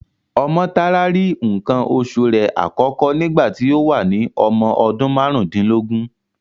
Ọmọ́tárá rí nǹkan oṣu rẹ̀ àkọ́kọ́ nígbà tí ó wà ní ọmọ ọdún márùndínlógún.